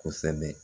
Kosɛbɛ